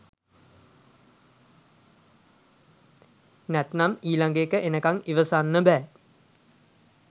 නැත්තං ඊලගඑක එනකන් ඉවසන්න බෑ